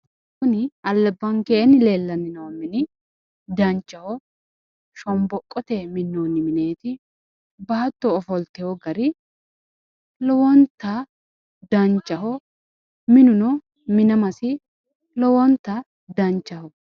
kuni albakeenni leellanni noo mine dancha shonboqoteyi minnoonni mineeti baatto ofoltewo gara lowonta danchaho minuno minamasi lowonta danchaho.